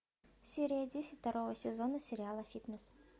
серия десять второго сезона сериала фитнес